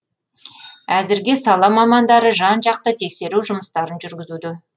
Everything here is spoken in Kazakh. әзірге сала мамандары жан жақты тексеру жұмыстарын жүргізуде